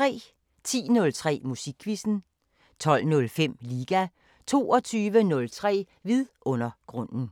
10:03: Musikquizzen 12:05: Liga 22:03: Vidundergrunden